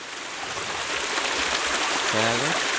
ક્યાં આગળ